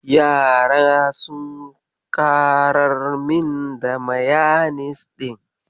Yara sun ƙarar min da mayanis ɗin.